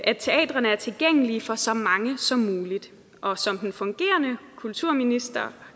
at teatrene er tilgængelige for så mange som muligt og som den fungerende kulturminister